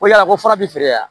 Ko yala ko fura bi feere yan